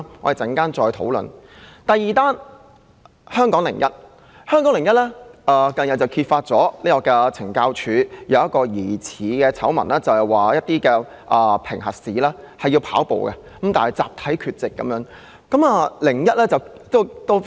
第二篇報道則來自《香港01》。該報近日揭發一宗涉及懲教署的疑似醜聞，指署方進行的跑步評核試出現集體缺席的問題。